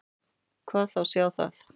Hvað þá sjá það.